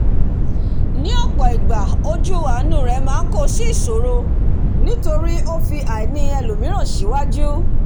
ní òpò ìgbà ojú àánú rè máá kó sí ìsòrò nítórí ó fi àìnì elòmíràn síwàjù